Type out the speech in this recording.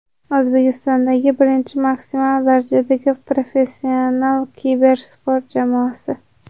O‘zbekistondagi birinchi maksimal darajadagi professional kibersport jamoasi!.